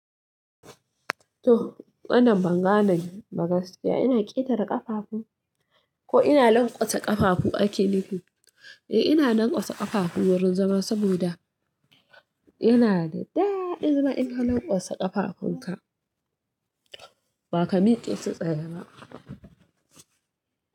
To, wannan banga na magaskiya. Ina ƙetare ƙafafu ko ina lanƙwasa ƙafafu ake nufi? Eh, ina lanƙwasa ƙafafu wurin zama saboda yana da daɗi zama ina lanƙwasa ƙafafunka. Ba ka miƙe sai tsaye ba.